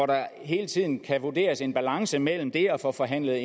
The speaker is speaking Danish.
der hele tiden kan vurderes en balance mellem det at få forhandlet